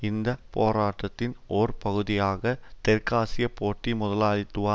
இந்த பேராட்டத்தின் ஓர் பகுதியாக தெற்காசிய போட்டி முதலாளித்துவ